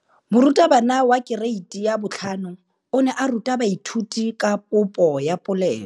Moratabana wa kereiti ya 5 o ne a ruta baithuti ka popô ya polelô.